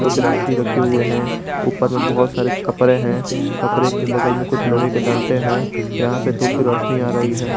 कुछ रस्सी रखे हुए हैं ऊपर में बहुत सारे छपरे हैं छपरे के बगल में कुछ लोहे के डंटे हैं यहां पे धूप की रोशनी आ रही है।